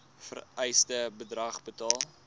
vereiste bedrag betaal